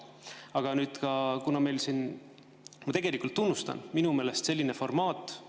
Aga nüüd ma tegelikult tunnustan sellist formaati, mis meil on siin tekkinud.